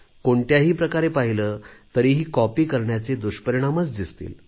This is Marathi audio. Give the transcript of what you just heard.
कोणत्याही प्रकारे पाहिले तरीही कॉपी करण्याचे दुष्परिणामच दिसतील